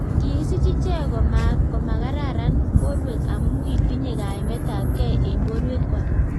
Kikisiich icheek komakararan porwek amu kitinye kaimet ap gei eng porwek kwai